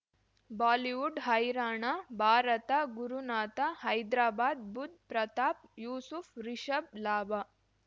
Bollywood ಹೈರಾಣ ಭಾರತ ಗುರುನಾಥ ಹೈದ್ರಾಬಾದ್ ಬುಧ್ ಪ್ರತಾಪ್ ಯೂಸುಫ್ ರಿಷಬ್ ಲಾಭ